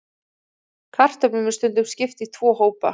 Kartöflum er stundum skipt í tvo hópa.